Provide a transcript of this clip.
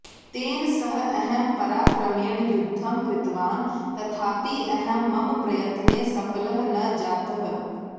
तेन सः अहं पराक्रमेण युद्धं कृतवान् तथापि अहं मम प्रयत्ने सफलः न जातः